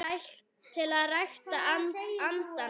til að rækta andann